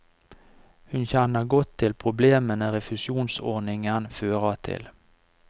Hun kjenner godt til problemene refusjonsordningen fører til.